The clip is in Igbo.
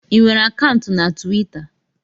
Ị nwere akaụntụ na Twita?